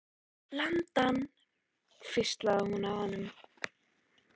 Lemdu hann hvíslaði hún að honum.